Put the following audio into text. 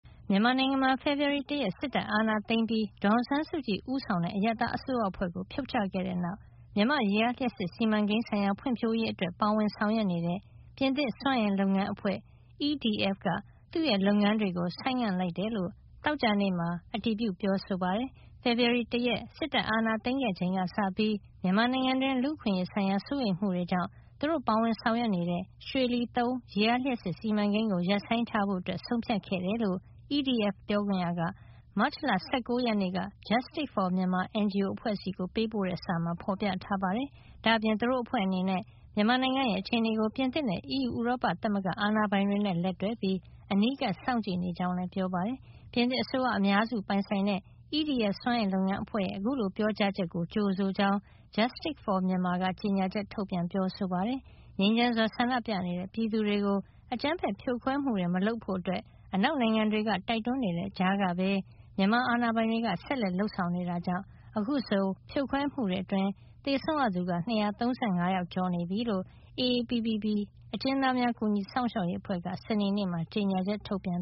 မြန်မာနိုင်ငံမှာ ဖေဖေါ်ဝါရီလတရက် စစ်တပ်ကအာဏာသိမ်းပြီး ဒေါ်အောင်ဆန်းစုကြည် ဦးဆောင်တဲ့ အရပ်သားအစိုးရအဖွဲ့ကို ဖြုတ်ချခဲ့တဲ့နောက် မြန်မာ့ ရေအားလျှပ်စစ်စီမံကိန်းဆိုင်ရာ ဖွံ့ဖြိုးရေးအတွက် ပါဝင်ဆောင်ရွက်နေတဲ့ ပြင်သစ်စွမ်းအင်လုပ်ငန်းအဖွဲ့ EDF - Électricité de France က သူ့လုပ်ငန်းတွေကို ဆိုင်းငံ့လိုက်ကြောင်း သောကြာနေ့မှာ အတည်ပြု ပြောဆိုပါတယ်။ ဖေဖေါ်ဝါရီ ၁ ရက် စစ်တပ်အာဏာသိမ်းခဲ့ချိန်ကစပြီး မြန်မာနိုင်ငံတွင်း လူ့အခွင့်ရေးဆိုင်ရာ စိုးရိမ်မှုတွေကြောင့် သူတို့ပါဝင်ဆောင်ရွက်နေတဲ့ ရွှေလီ ၃ ရေအားလျှပ်စစ်စီမံကိန်းကို ရပ်ဆိုင်းထားဖို့ ဆုံးဖြတ်ခဲ့တယ်လို့ EDF ပြောခွင့်ရက မတ်လ ၁၉ ရက်နေ့ Justic For Myanmar NGO အဖွဲ့ဆီ ပေးပို့တဲ့ စာထဲမှာ ဖေါ်ပြထားပါတယ်။ ဒါ့အပြင် သူတို့အဖွဲ့အနေနဲ့ မြန်မာနိုင်ငံရဲ့ အခြေနေကို ပြင်သစ်နဲ့ အီးယူ ဥရောပသမဂ္ဂ အာဏာပိုင်တွေနဲ့ လက်တွဲပြီး အနီးကပ်စောင့်ကြည့်နေကြောင်းလည်း ပြောပါတယ်။ ပြင်သစ်အစိုးရ အများစုပိုင်ဆိုင်တဲ့ EDF စွမ်းအင် လုပ်ငန်းအဖွဲ့ရဲ့ အခုလို ပြောကြားချက်ကို ကြိုဆိုကြောင်း Justice For Myanmar က ကြေညာချက် ထုတ်ပြန်ပြောဆိုပါတယ်။ ငြိမ်းချမ်းစွာဆန္ဒပြနေတဲ့ ပြည်သူတွေကို အကြမ်းဖက်ဖြိုခွဲမှုတွေ မလုပ်ဖို့ အနောက်နိုင်ငံတွေက တိုက်တွန်းနေတဲ့ကြားကပဲ မြန်မာအာဏာပိုင်တွေက ဆက်လက် လုပ်ဆောင်နေတာကြောင့် အခုဆို ဖြိုခွဲမှုအတွင်း သေဆုံးရသူ ၂၃၅ ကျော်နေပြီလို့ AAPPB မြန်မာနိုင်ငံအကျဉ်းသားများ ကူညီစောင့်ရှောက်ရေး အဖွဲ့က စနေနေ့မှာ ကြေညာချက် ထုတ်ပြန်